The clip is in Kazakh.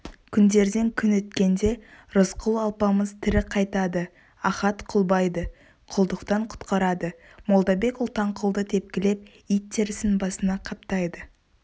күндерден күн өткенде рысқұл-алпамыс тірі қайтады ахат құлбайды құлдықтан құтқарады молдабек-ұлтанқұлды тепкілеп ит терісін басына қаптайды